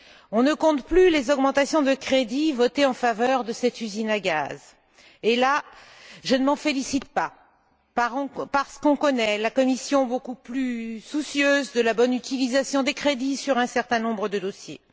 On ne compte plus les augmentations de crédits votées en faveur de cette usine à gaz, ce dont, en revanche, je ne me félicite pas, parce que l'on connaît la Commission beaucoup plus soucieuse de la bonne utilisation des crédits sur un certain nombre de dossiers.